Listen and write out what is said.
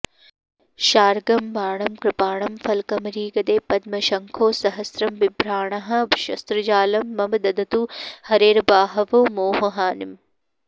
शार्ङ्गं बाणं कृपाणं फलकमरिगदे पद्मशंखौ सहस्रम् बिभ्राणाः शस्त्रजालं मम दधतु हरेर्बाहवो मोहहानिम्